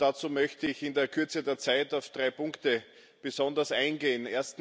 Dazu möchte ich in der Kürze der Zeit auf drei Punkte besonders eingehen.